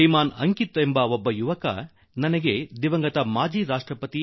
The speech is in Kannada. ಶ್ರೀ ಅಂಕಿತ್ ಎನ್ನುವ ಯುವಕ ನನಗೆ ದಿವಂಗತ ಮಾಜಿ ರಾಷ್ಟ್ರಪತಿ ಎ